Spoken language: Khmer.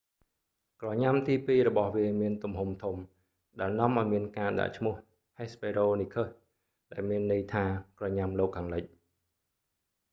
ក្រញ៉ាំទីពីររបស់វាមានទំហំធំ ដែលនាំឲ្យមានការដាក់ឈ្មោះ hesperonychus ដែលមានន័យថា ក្រញ៉ាំលោកខាងលិច